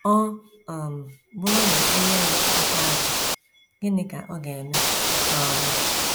Ọ um bụrụ na e nye ya aka azụ, gịnị ka ọ ga - eme? um ”